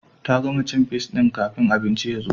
Ta gama cin fis din kafin abincin ya zo